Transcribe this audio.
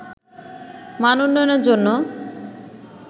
মান উন্নয়নের জন্য